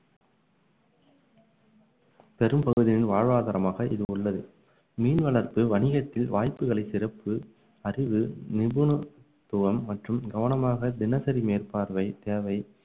பெரும்பகுதியின் வாழ்வாதாரமாக இது உள்ளது மீன் வளர்ப்பு வணிகத்தில் வாய்ப்புகளை சிறப்பு அறிவு நிபுணத்துவம் மற்றும் கவனமாக தினசரி மேற்பார்வை தேவை